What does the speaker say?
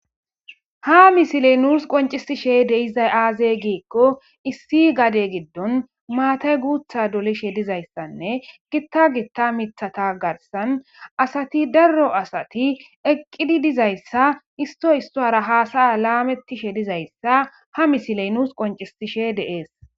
Ha misiley nus qoncisishe de'izay aaze gikon issi gade gidon matay guutha dolishe dizaysanne Gita Gita mithata garsan asati daro asati eqidi dizaysa issoy issara hasa'a lametishe dizaysa ha misiley nus qoncisishe de'es